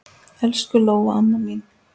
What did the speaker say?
Elsku Lóa amma mín.